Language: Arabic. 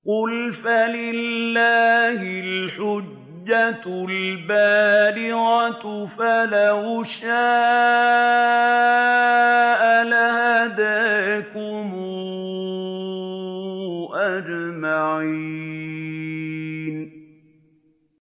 قُلْ فَلِلَّهِ الْحُجَّةُ الْبَالِغَةُ ۖ فَلَوْ شَاءَ لَهَدَاكُمْ أَجْمَعِينَ